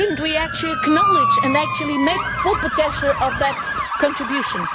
Should we not actually acknowledge and actually make full potential of that contribution?